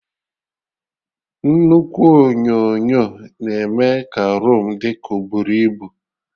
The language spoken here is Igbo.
Nnukwu onyonyo na-eme ka roomu dị ka oburu ibu